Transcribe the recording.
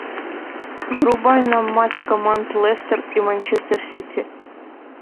врубай нам матч команд лестер и манчестер сити